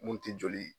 Mun ti joli